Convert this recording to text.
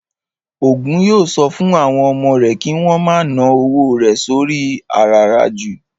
Ògún yóò sọ fún àwọn ọmọ rẹ̀ kí wón ma ná owó rẹ̀ sóri i àràràjù